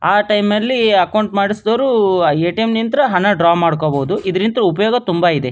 ಆಹ್ಹ್ time ಅಲ್ಲೇ accounts ಮಾಡಿಸಿದವರು ATM ನಿಂತ್ರೆ ಹಣ ಡ್ರಾ ಮಾಡ್ಕೋಬಹುದು ಇದರಿಂದ ಉಪಯೋಗ ತುಂಬ ಇದೆ.